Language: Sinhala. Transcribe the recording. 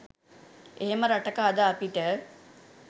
එහෙම රටක අද අපිට